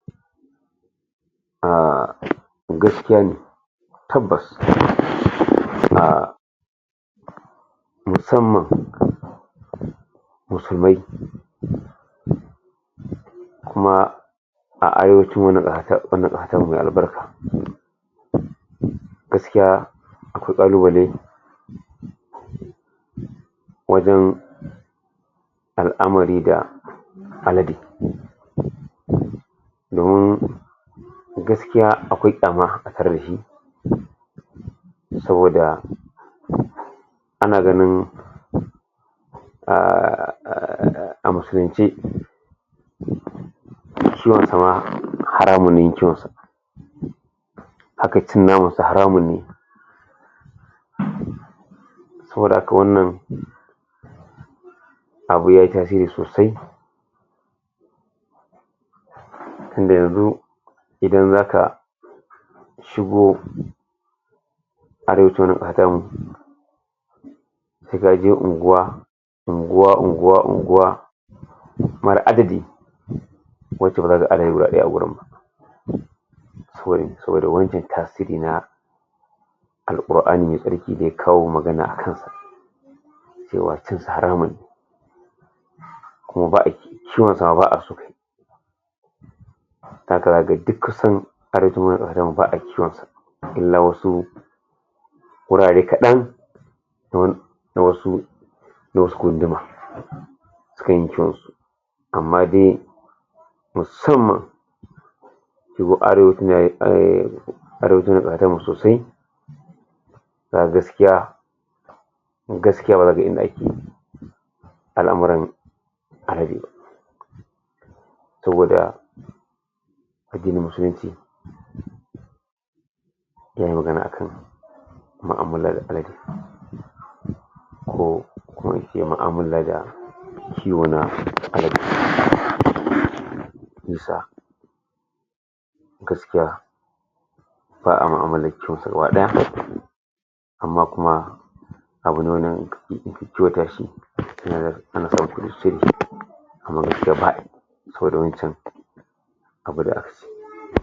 A gaskiya ne tabbas ina musamman musulmai kuma gaskiya akwai kallubalai wajen al'amari da dun gakiya akwai saboda ana ganin a musulance haramu haramu ne saboda haka wannan abu yayi tasiri sosai tun da yanzu idan zaka shigo sai gaje unguwa unguwa, unguwa, unguwa mar adadi saboda wance tasiri na al'uquarani ya kawo magana akan sa cewa haramu kuma ciwon sa ma ba'a so ba'a kiwon sa na wasu wurare kadan da wasu amma dai musamman sosai da gaskiya gaskiya bara ka gan inda ake al'amaran saboda yayi magana a kan muamalan ko ma'amala da kiwo na gaskiya wada amma kuma saboda wanchan